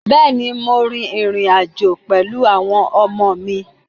Bẹ́ẹ̀ ni, mo rin ìrìn-àjọ̀ pẹ̀lú àwọn ọmọ mi.